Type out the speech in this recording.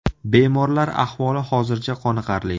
Bemorlar ahvoli hozircha qoniqarli.